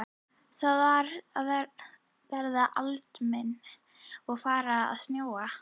Það var að verða aldimmt og farið að snjóa.